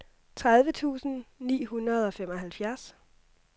tredive tusind ni hundrede og femoghalvfjerds